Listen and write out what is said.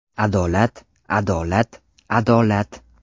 Adolat, adolat, adolat!